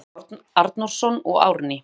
Stefán Arnórsson og Árný